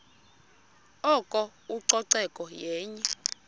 oko ucoceko yenye